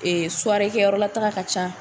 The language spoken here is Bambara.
Ee kɛyɔrɔla taa ka ca